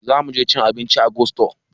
Zamuje cin abinci a gusto